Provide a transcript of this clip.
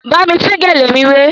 Bámi tún gèlè mi wé!